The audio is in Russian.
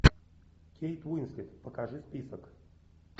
кейт уинслет покажи список